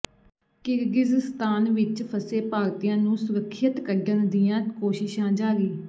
Kyrgyzstan ਵਿਚ ਫਸੇ ਭਾਰਤੀਆਂ ਨੂੰ ਸੁਰੱਖਿਅਤ ਕੱਢਣ ਦੀਆਂ ਕੋਸ਼ਿਸ਼ਾਂ ਜਾਰੀ